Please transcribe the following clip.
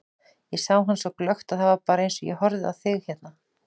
Ég sá hann svo glöggt, það var bara eins og ég horfi á þig hérna.